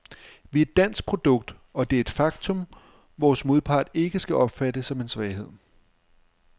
Vi er et dansk produkt, og det er et faktum, vores modpart ikke skal opfatte som en svaghed.